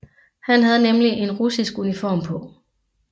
Han havde nemlig en russisk uniform på